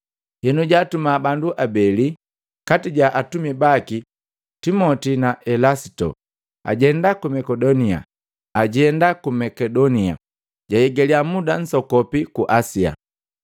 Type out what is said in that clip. Henu jaatuma bandu abeli kati ja atumi baki, Timoti na Elasito, ajenda ku Makedonia, jahigalya muda msokopi ku Asia.”